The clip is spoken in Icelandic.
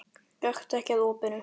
Gakktu ekki að opinu.